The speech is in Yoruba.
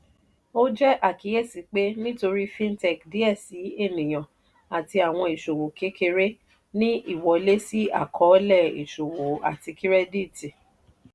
ó jẹ́ àkíyèsí pé nítorí fintech díẹ síi ènìyàn àti àwọn ìṣòwò kékeré ní ìwọlé sí àkọ́ọ́lẹ̀ ìṣòwò àti kírẹ́dìtì.